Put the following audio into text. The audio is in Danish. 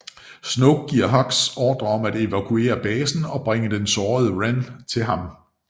Snoke giver Hux ordre om at evakuere basen og bringe den sårede Ren til ham